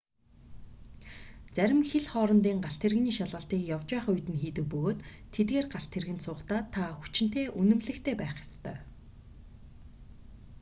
зарим хил хоорондын галт тэрэгний шалгалтыг явж байх үед нь хийдэг бөгөөд тэдгээр галт тэргэнд суухдаа та хүчинтэй үнэмлэхтэй байх ёстой